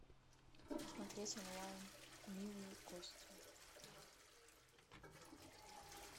смотреть онлайн милые кости